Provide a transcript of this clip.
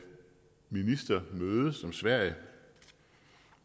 ministermøde som sverige